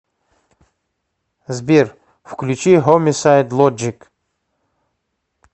сбер включи хомисайд лоджик